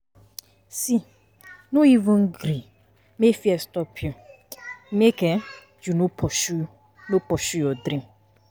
see no even gree make fear stop you, make[um]you no pursue no pursue your dream.